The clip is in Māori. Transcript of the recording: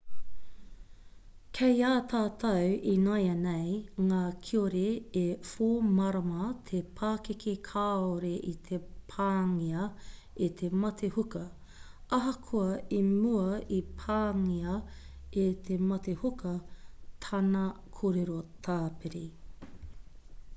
kei a tātou ināianei ngā kiore e 4-marama te pakeke kāore i te pāngia e te mate huka ahakoa i mua i pāngia e te mate huka tana kōrero tāpiri